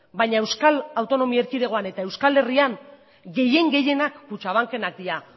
baina euskal autonomi erkidegoan eta euskal herrian gehien gehienak kutxabankenak dira